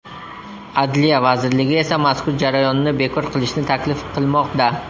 Adliya vazirligi esa mazkur jarayonni bekor qilishni taklif qilmoqda.